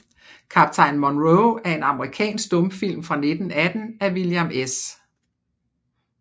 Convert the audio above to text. Kaptajn Monroe er en amerikansk stumfilm fra 1918 af William S